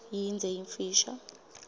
yindze yimfisha